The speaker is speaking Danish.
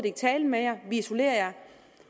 ikke tale med jer vi isolerer jer